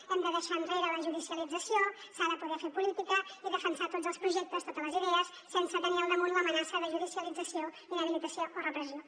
hem de deixar enrere la judicialització s’ha de poder fer política i defensar tots els projectes totes les idees sense tenir al damunt l’amenaça de judicialització inhabilitació o repressió